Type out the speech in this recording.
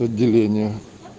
отделение